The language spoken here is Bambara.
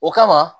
O kama